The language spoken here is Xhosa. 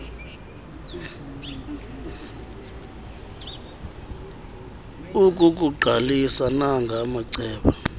ukukuqalisa nanga amacebo